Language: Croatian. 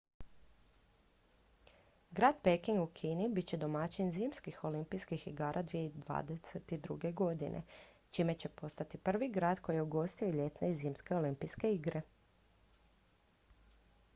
grad peking u kini bit će domaćin zimskih olimpijskih igara 2022 čime će postati prvi grad koji je ugostio i ljetne i zimske olimpijske igre